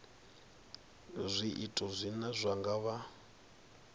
zwiito zwine zwa nga vha